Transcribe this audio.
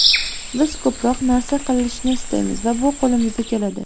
Biz ko‘proq narsa qilishni istaymiz va bu qo‘limizdan keladi.